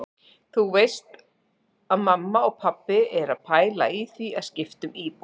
Þú veist að mamma og pabbi eru að pæla í því að skipta um íbúð.